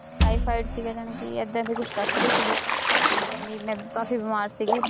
typhoid ਸੀਗਾ ਜਾਣੀ ਕਿ ਏਦਾਂ ਦਾ ਕੁਛ ਦੱਸ ਰਹੀ ਸੀਗੀ ਤੇ ਕਹਿੰਦੀ ਮੈਂ ਕਾਫ਼ੀ ਬਿਮਾਰ ਸੀਗੀ